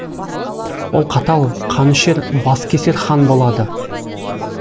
ол қатал қанішер баскесер хан болады